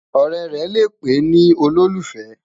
ọrẹ rè lẹ pé nì ololufẹ